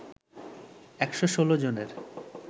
১১৬ জনের